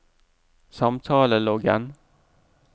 samtaleloggen